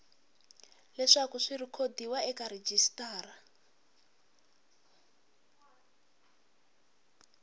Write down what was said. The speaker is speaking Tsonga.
leswaku swi rhekhodiwa eka rejistara